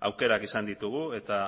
aukerak izan ditugu eta